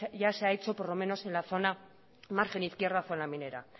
ya se ha hecho por lo menos en la zona margen izquierda y zona minera